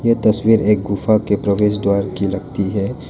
ये तस्वीर एक गुफा के प्रवेश द्वार की लगती है।